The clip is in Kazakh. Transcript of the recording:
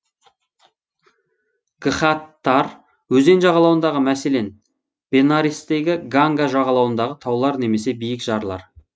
гхаттар өзен жағалауындағы мәселен бенарестегі ганга жағалауындағы таулар немесе биік жарлар